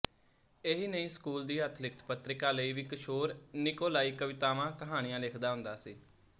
ਇਹੀ ਨਹੀਂ ਸਕੂਲ ਦੀ ਹੱਥਲਿਖਿਤ ਪਤ੍ਰਿਕਾ ਲਈ ਵੀ ਕਿਸ਼ੋਰ ਨਿਕੋਲਾਈ ਕਵਿਤਾਵਾਂਕਹਾਣੀਆਂ ਲਿਖਦਾ ਹੁੰਦਾ ਸੀ